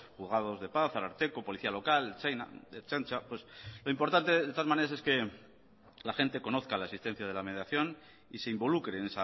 juzgados de paz ararteko policía local ertzaintza lo importante de todas maneras es que la gente conozca la existencia de la mediación y se involucre en